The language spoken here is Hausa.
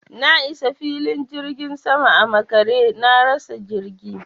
Na isa filin jirgin saman a makare, na rasa jirgi.